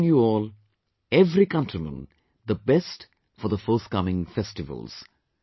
Wishing you all, every countryman the best for the fortcoming festivals